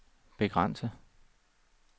begrænset